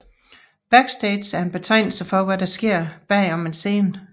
Backstage er en betegnelse for hvad der sker bag om en scene